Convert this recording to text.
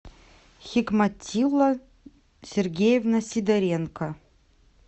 хикматилла сергеевна сидоренко